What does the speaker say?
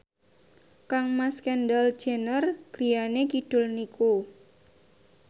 kangmas Kendall Jenner griyane kidul niku